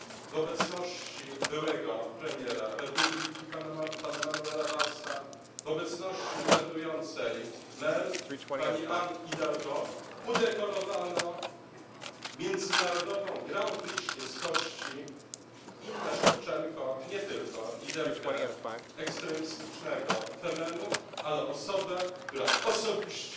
W obecności byłego premiera Republiki pana Manuela Vallsa, w obecności urzędującej mer pani Anne Hidalgo udekorowano międzynarodową Grand Prix świeckości Innę Szewczenko, nie tylko liderkę ekstremistycznego Femenu, ale osobę, która osobiście